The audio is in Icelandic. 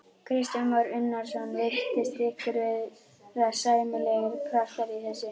Kristján Már Unnarsson: Virtist ykkur vera sæmilegur kraftur í þessu?